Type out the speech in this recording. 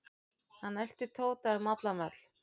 Hann elti Tóta um allan völl.